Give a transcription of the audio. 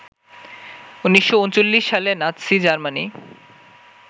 ১৯৩৯ সালে Nazi Germany